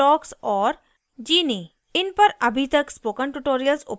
इन पर अभी तक spoken tutorials उपलब्ध नहीं हैं